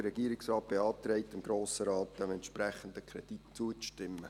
Der Regierungsrat beantrag dem Grossen Rat, dem entsprechenden Kredit zuzustimmen.